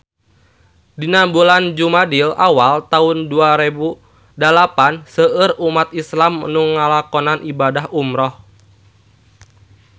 Dina bulan Jumadil awal taun dua rebu dalapan seueur umat islam nu ngalakonan ibadah umrah